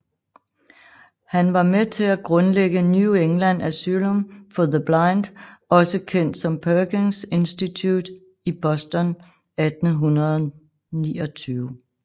Han var med til at grundlægge New England Asylum for the Blind også Kendt som Perkins Institute i Boston 1829